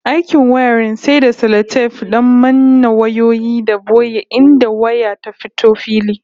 Aikin wiring sai da salatef don manne wayoyi da boye inda waya ta fito fili